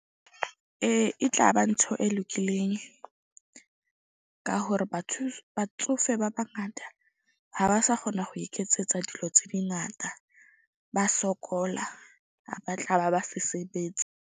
Ee e tla ba ntho e lokileng ka hore batsofe ba bangata ha ba sa kgona ho iketsetsa dilo tse dingata. Ba sokola ba tla ba ba se sebetse.